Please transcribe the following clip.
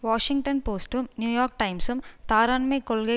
Washington போஸ்டும் New York டைம்சும் தாராண்மைக் கொள்கை